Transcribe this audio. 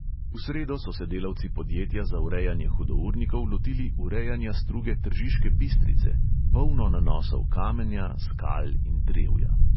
V sredo so se delavci podjetja za urejanje hudournikov lotili urejanja struge tržiške bistrice, polno nanosov kamenja, skal in drevja.